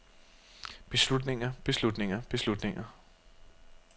beslutninger beslutninger beslutninger